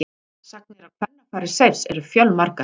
Sagnir af kvennafari Seifs eru fjölmargar.